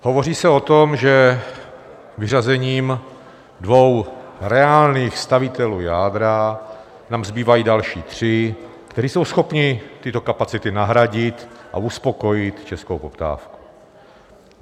Hovoří se o tom, že vyřazením dvou reálných stavitelů jádra nám zbývají další tři, kteří jsou schopni tyto kapacity nahradit a uspokojit českou poptávku.